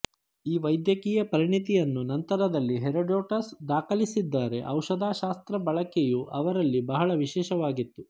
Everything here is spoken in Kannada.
ಈ ವೈದ್ಯಕೀಯ ಪರಿಣತಿಯನ್ನು ನಂತರದಲ್ಲಿ ಹೆರೋಡೋಟಸ್ ದಾಖಲಿಸಿದ್ದಾರೆ ಔಷಧಶಾಸ್ತ್ರ ಬಳಕೆಯು ಅವರಲ್ಲಿ ಬಹಳ ವಿಶೇಷವಾಗಿತ್ತು